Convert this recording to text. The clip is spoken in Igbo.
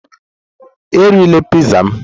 Erila Piizaa m!